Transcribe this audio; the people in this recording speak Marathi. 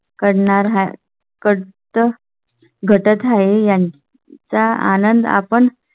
करणार आहे. कडचं घटत आहे यांचा आनंद आपण.